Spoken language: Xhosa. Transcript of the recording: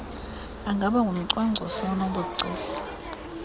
angaba ngumcwangcisi onobugcisa